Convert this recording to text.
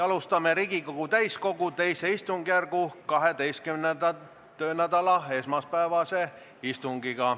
Alustame Riigikogu täiskogu II istungjärgu 12. töönädala esmaspäevast istungit.